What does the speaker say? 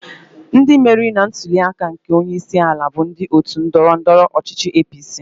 Ndị meriri na ntuli aka nke onye isi ala bụ ndị otu ndọrọ ndọrọ ọchichị APC.